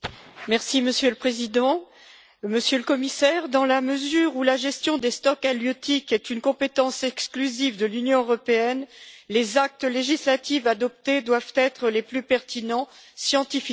Monsieur le Président, Monsieur le Commissaire, dans la mesure où la gestion des stocks halieutiques est une compétence exclusive de l'Union européenne, les actes législatifs adoptés doivent être les plus pertinents scientifiquement.